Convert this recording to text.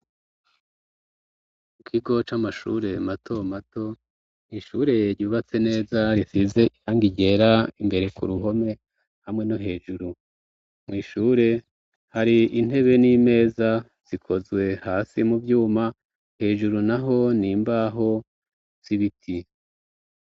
Mu kigoco amashure mato mato mwishureye yubatse neza risize ihanga iryera imbere ku ruhome hamwe no hejuru mwishure hari intebe n'imeza zikozwe hasi mu vyuma hejuru na ho ni mbaho sibiti.